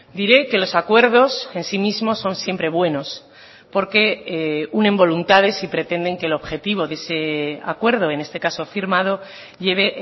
diré que los acuerdos en sí mismo son siempre buenos porque unen voluntades y pretenden que el objetivo de ese acuerdo en este caso firmado lleve